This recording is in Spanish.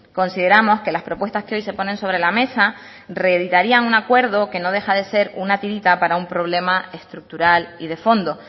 consideramos que las propuestas que hoy se ponen sobre la mesa reeditarían un acuerdo que no deja de ser una tirita para un problema estructural y de fondo